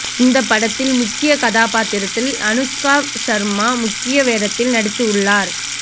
இந்த படத்தில் முக்கிய கதாபாத்திரத்தில் அனுஷ்கா ஷர்மா முக்கிய வேடத்தில் நடித்து உள்ளார்